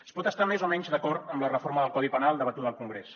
es pot estar més o menys d’acord amb la reforma del codi penal debatuda al congrés